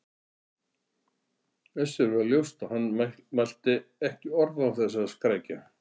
Össuri varð ljóst að hann mælti ekki orð án þess að skrækja.